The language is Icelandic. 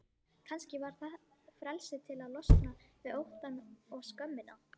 Kannski var það frelsið til að losna við óttann og skömmina.